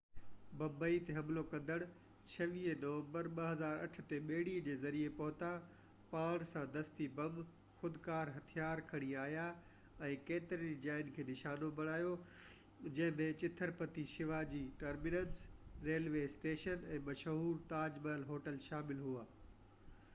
ممبئي تي حملو ڪندڙ 26 نومبر 2008 تي ٻيڙي جي ذريعي پهتا پاڻ سان دستي بم خودڪار هٿيار کڻي آيا ۽ ڪيترين ئي جاين کي نشانو بڻايو جنهن ۾ Chhatrapati Shivaji terminus railway station ۽ مشهور تاج محل هوٽل شامل هئا